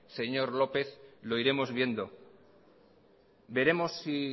señor lópez lo iremos viendo veremos si